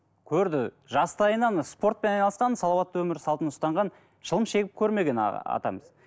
көрді жастайынан спортпен айналысқан салауатты өмір салтын ұстанған шылым шегіп көрмеген атамыз